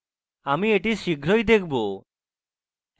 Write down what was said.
আমি এটি শীঘ্রই দেখাবো